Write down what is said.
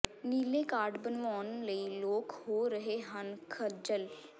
ਨੀਲੇ ਕਾਰਡ ਬਣਵਾਉਣ ਲਈ ਲੋਕ ਹੋ ਰਹੇ ਹਨ ਖੱਜਲ